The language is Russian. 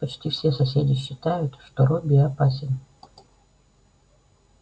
почти все соседи считают что робби опасен